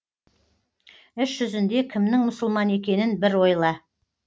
іс жүзінде кімнің мұсылман екенін бір ойла